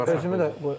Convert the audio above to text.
Ən axıra saxla.